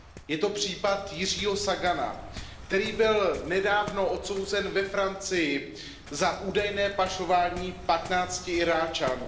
Je to případ Jiřího Sagana, který byl nedávno odsouzen ve Francii za údajné pašování 15 Iráčanů.